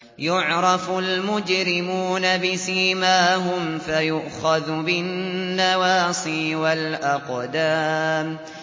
يُعْرَفُ الْمُجْرِمُونَ بِسِيمَاهُمْ فَيُؤْخَذُ بِالنَّوَاصِي وَالْأَقْدَامِ